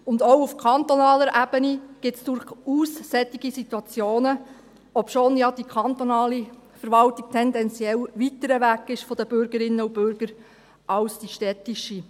Und auch auf kantonaler Ebene gibt es durchaus solche Situationen, obschon ja die kantonale Verwaltung tendenziell weiter weg von den Bürgerinnen und Bürgern ist als die städtische.